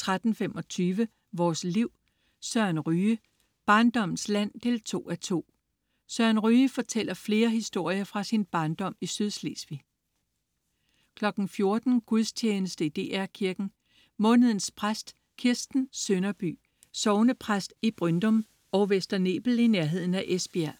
13.25 Vores Liv. Søren Ryge. Barndommens land 2:2. Søren Ryge fortæller flere historier fra sin barndom i Sydslesvig 14.00 Gudstjeneste i DR Kirken. Månedens præst: Kirsten Sønderby, sognepræst i Bryndum og Vester Nebel i nærheden af Esbjerg